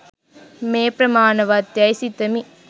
මේ ප්‍රමාණවත් යැයි සිතමි